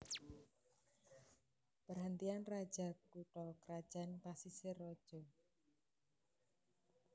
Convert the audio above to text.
Perhentian Raja kutha krajan Pasisir Raja